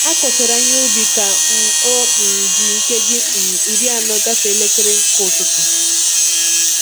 A kụchara ihe n'ubi ka um o um ji nkeji um iri anọ gafee elekere nke ụtụtụ